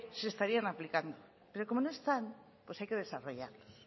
se estarían aplicando pero como no están hay que desarrollarlos